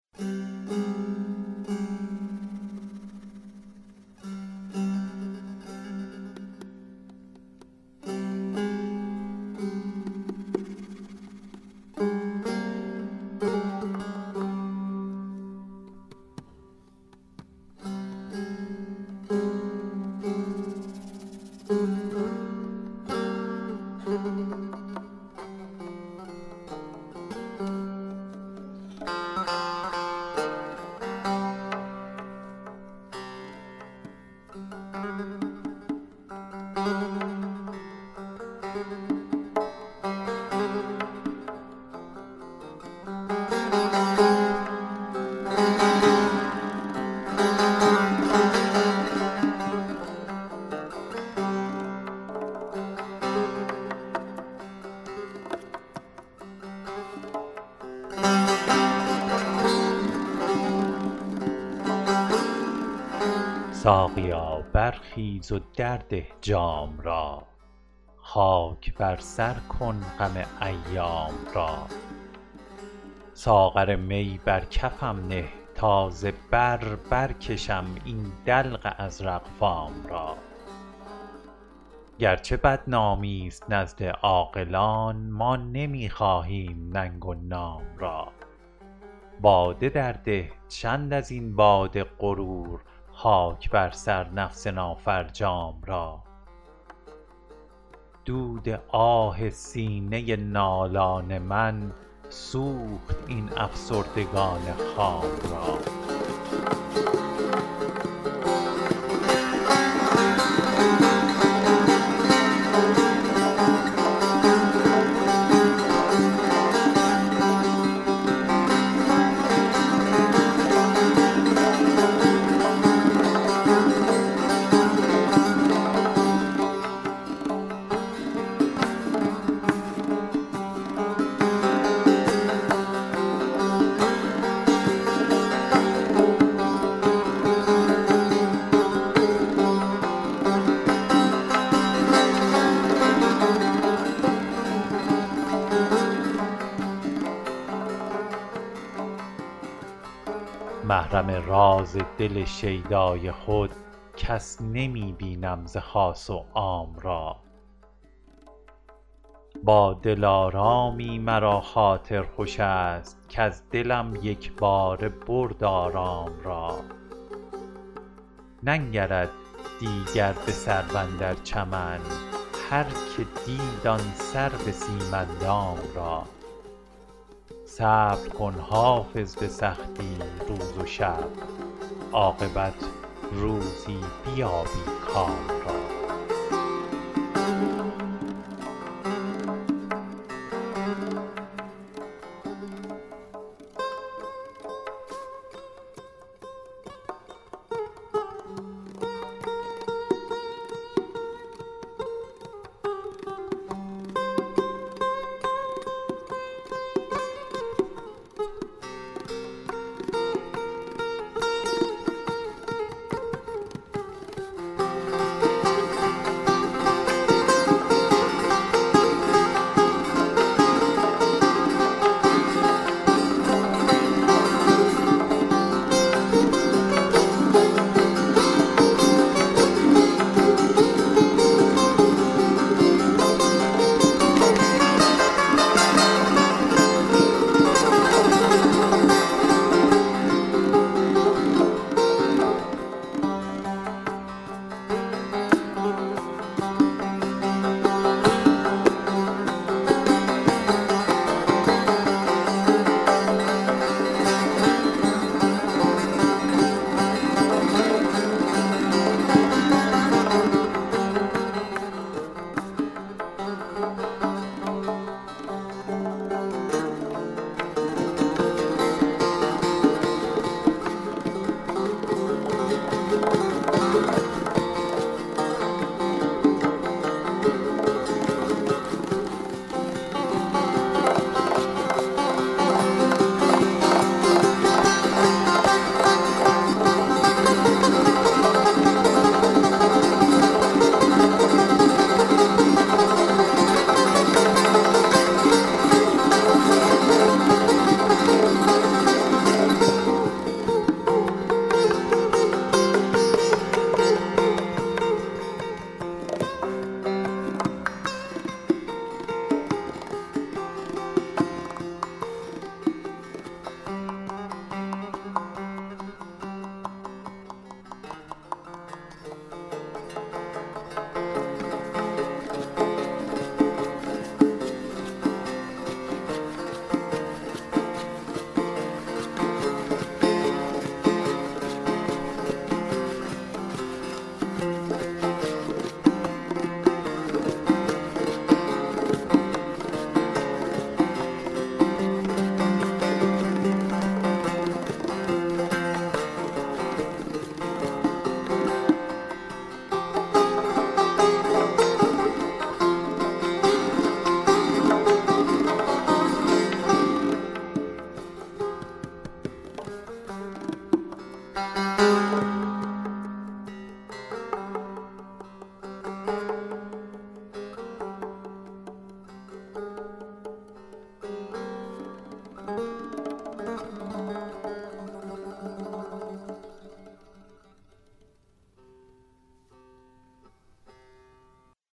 ساقیا برخیز و درده جام را خاک بر سر کن غم ایام را ساغر می بر کفم نه تا ز بر برکشم این دلق ازرق فام را گرچه بدنامی ست نزد عاقلان ما نمی خواهیم ننگ و نام را باده درده چند از این باد غرور خاک بر سر نفس نافرجام را دود آه سینه نالان من سوخت این افسردگان خام را محرم راز دل شیدای خود کس نمی بینم ز خاص و عام را با دلارامی مرا خاطر خوش است کز دلم یک باره برد آرام را ننگرد دیگر به سرو اندر چمن هرکه دید آن سرو سیم اندام را صبر کن حافظ به سختی روز و شب عاقبت روزی بیابی کام را